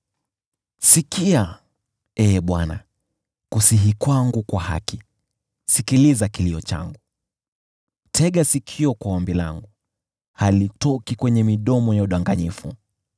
Sikia, Ee Bwana , kusihi kwangu kwa haki, sikiliza kilio changu. Tega sikio kwa ombi langu, halitoki kwenye midomo ya udanganyifu.